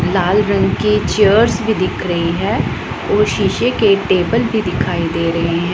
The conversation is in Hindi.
लाल रंग की चेयर्स भी दिख रही है और शीशे के टेबल भी दिखाई दे रहे--